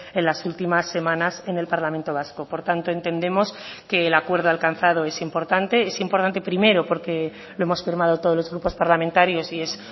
en las últimas semanas en el parlamento vasco por tanto entendemos que el acuerdo alcanzado es importante es importante primero porque lo hemos firmado todos los grupos parlamentarios y es